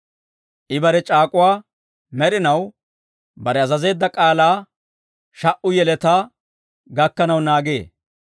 I bare c'aak'uwaa med'inaw, bare azazeedda k'aalaa sha"u yeletaa gakkanaw naagee.